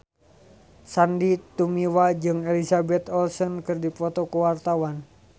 Sandy Tumiwa jeung Elizabeth Olsen keur dipoto ku wartawan